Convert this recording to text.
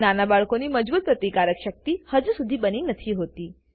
નાના બાળકોની મજબૂત પ્રતિકારક શક્તિ હજુ સુધી બની નથી હોતી